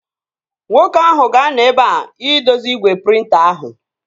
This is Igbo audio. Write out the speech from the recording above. Nwoke ahụ ga-anọ ebea idozi igwe prịnta ahụ